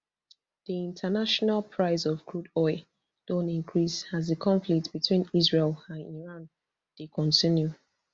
di international price of crude oil don increase as di conflict between israel and iran dey continue